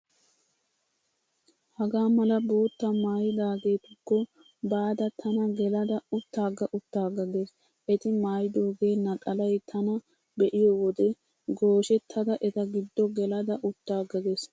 Hagaa mala boottaa maayidaageetukko baada tana gelada uttaaga uttaaga gees. Eti maaydooge naxalay tana be'iyo wode gooshettada eta giddo gelada uttaaga gees.